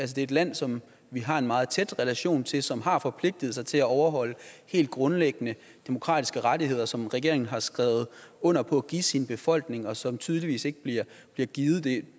det er et land som vi har en meget tæt relation til og som har forpligtet sig til at overholde helt grundlæggende demokratiske rettigheder som regeringen har skrevet under på at give sin befolkning og som tydeligvis ikke bliver givet det